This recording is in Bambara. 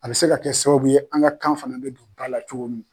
A bɛ se ka kɛ sababu ye an ka kan fana bɛ don ba la cogo min na.